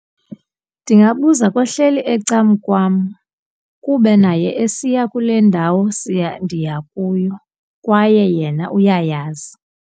Ndingabuza kohleli ecankwam kuba naye esiya kule ndawo siya ndiya kuyo kwaye yena uyayazi.